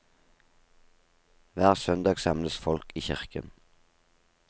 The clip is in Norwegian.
Hver søndag samles folk i kirken.